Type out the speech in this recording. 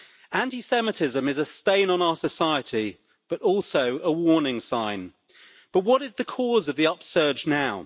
Anti Semitism is a stain on our society, but also a warning sign. But what is the cause of the upsurge now?